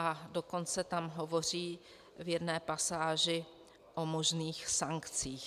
A dokonce tam hovoří v jedné pasáži o možných sankcích.